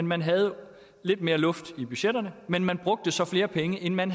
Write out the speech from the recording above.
man havde lidt mere luft i budgetterne men man brugte så flere penge end man